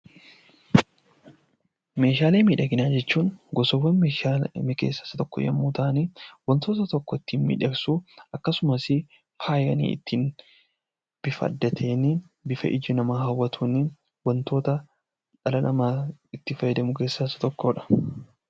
Meeshaalee miidhaginaa jechuun gosawwan meeshaalee keessaa isa tokko yammuu ta'an; wantoota tokko ittiin miidhagsuuf akkasumas faayanii bifa adda ta'een, bifa ija namaa hawwatuun wantoota dhala namaa itti fayyadaman keessaa isa tokkoodha.